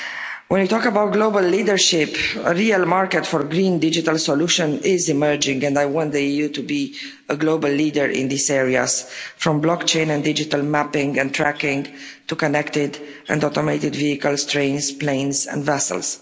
When you talk about global leadership, a real market for the green digital solution is emerging, and I want the EU to be a global leader in these areas from block chain and digital mapping and tracking, to connected and automated vehicles, trains, planes and vessels.